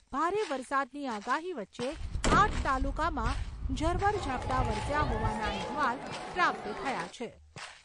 ભારે વરસાદની આગાહી વચ્ચે આઠ તાલુકામાં ઝરમર ઝાપટા વરસ્યા હોવાના અહેવાલ પ્રાપ્ત થયા છે.